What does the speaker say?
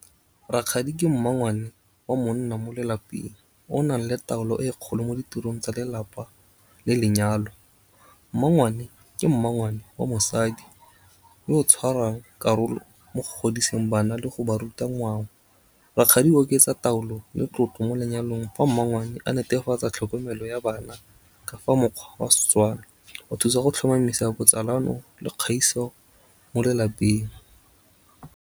Rakgadi ke mmangwane wa monna mo lelapeng, o nang le taolo e kgolo mo ditirong tsa lelapa le lenyalo. Mmangwane, ke mmangwane wa mosadi, yo o tshwarang karolo mo godiseng bana, le go ba ruta ngwao. Rakgadi o oketsa taolo le tlotlo, mo lenyalong. Fa mmangwane a netefatsa tlhokomelo ya bana ka fa mokgwa wa Setswana, o thusa go tlhomamisa botsalano le kgaiso mo lelapeng.